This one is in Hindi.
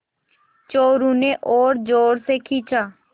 चोरु ने और ज़ोर से खींचा